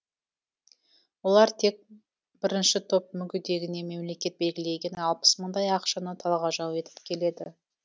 олар тек бірінші топ мүгедегіне мемлекет белгілеген алпыс мыңдай ақшаны талғажау етіп келеді